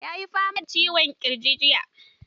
Yayi fama da ciwon ƙirji jiya.